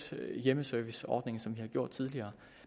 hjemmeserviceordningen som vi har gjort tidligere